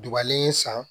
Dubalen san